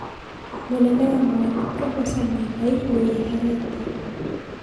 Munene wa mawatho profesa Muigai nĩeyeheretie